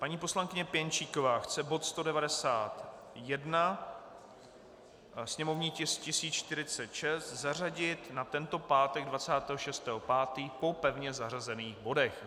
Paní poslankyně Pěnčíková chce bod 191, sněmovní tisk 1046, zařadit na tento pátek 26. 5. po pevně zařazených bodech.